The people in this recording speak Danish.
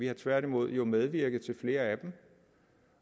jo tværtimod medvirket til flere af dem